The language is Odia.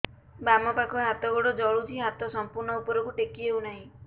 ବାମପାଖ ହାତ ଗୋଡ଼ ଜଳୁଛି ହାତ ସଂପୂର୍ଣ୍ଣ ଉପରକୁ ଟେକି ହେଉନାହିଁ